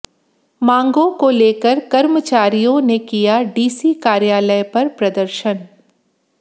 मांगों को लेकर कर्मचारियों ने किया डीसी कार्यालय पर प्रदर्शन